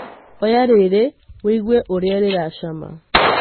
Oya rĩrĩ woigwe ũrĩa rĩracama.